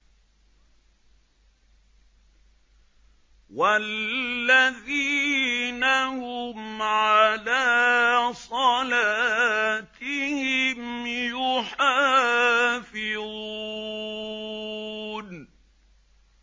وَالَّذِينَ هُمْ عَلَىٰ صَلَاتِهِمْ يُحَافِظُونَ